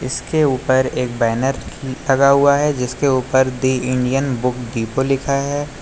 इसके ऊपर एक बैनर लगा हुआ है जिसके ऊपर दी इंडियन बुक डिपो लिखा है।